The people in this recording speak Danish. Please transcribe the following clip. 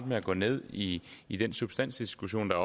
med at gå ned i i den substansdiskussion der